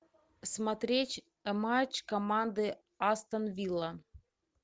смотреть матч команды астон вилла